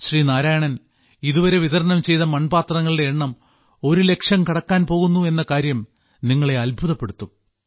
ശ്രീ നാരായണൻ ഇതുവരെ വിതരണം ചെയ്ത മൺപാത്രങ്ങളുടെ എണ്ണം ഒരുലക്ഷം കടക്കാൻ പോകുന്നു എന്ന കാര്യം നിങ്ങളെ അത്ഭുതപ്പെടുത്തും